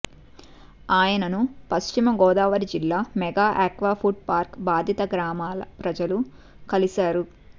ఆయనను పశ్చిమ గోదావరి జిల్లా mega aqua food park బాధిత గ్రామాల ప్రజలు కలిశారు